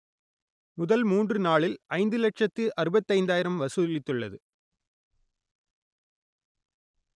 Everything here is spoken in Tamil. முதல் மூன்று நாளில் ஐந்து லட்சத்து அறுபத்தைந்தாயிரம் வசூலித்துள்ளது